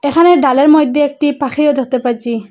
এখানে ডালের মইদ্যে একটি পাখিও দেখতে পাচ্ছি।